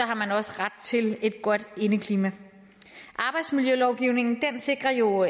har man også ret til et godt indeklima arbejdsmiljølovgivningen sikrer jo